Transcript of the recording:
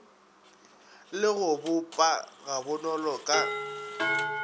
le go boppa gabonolo ka